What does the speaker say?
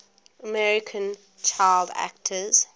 american child actors